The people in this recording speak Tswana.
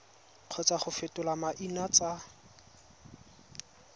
kgotsa go fetola maina tsa